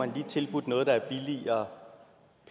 lige tilbudt noget der er billigere